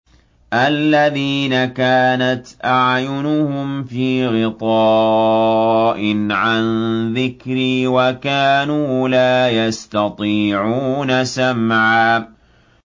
الَّذِينَ كَانَتْ أَعْيُنُهُمْ فِي غِطَاءٍ عَن ذِكْرِي وَكَانُوا لَا يَسْتَطِيعُونَ سَمْعًا